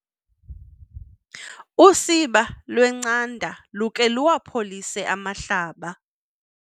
Usiba lwencanda lukhe luwapholise amahlaba.